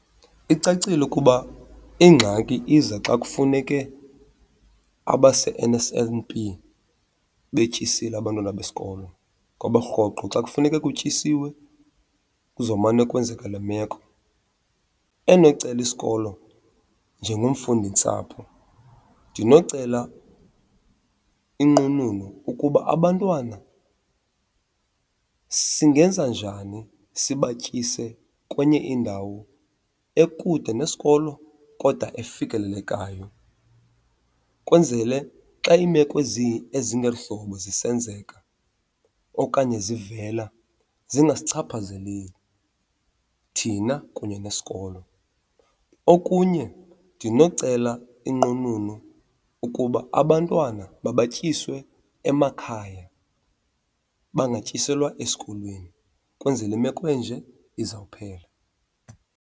Icacile ukuba ingxaki iza xa kufuneke abase-N_S_N_P betyisile abantwana besikolo ngoba rhoqo xa kufuneke kutyisiwe kuzomane kwenzeka le meko. Endinocela isikolo njengomfundintsapho, ndinocela inqununu ukuba abantwana singenza njani sibatyise kwenye indawo ekude nesikolo kodwa efikelelekayo, kwenzele xa iimeko ezingeli hlobo zisenzeka okanye zivela zingasichaphazeleli thina kunye nesikolo. Okunye, ndinocela inqununu ukuba abantwana mabatyiswe emakhaya bangatyiselwa esikolweni kwenzele imeko enje izawuphela.